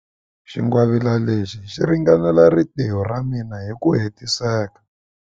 Xingwavila lexi xi ringanela rintiho ra mina hi ku hetiseka.